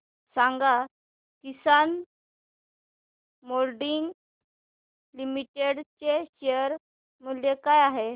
सांगा Kisan moulding limited चे share मूल्य काय आहे